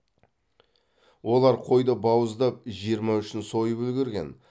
олар қойды бауыздап жиырма үшін сойып үлгерген